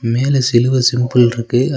மேல சிலுவ சிம்பிள் ருக்கு அ.